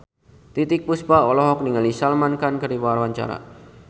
Titiek Puspa olohok ningali Salman Khan keur diwawancara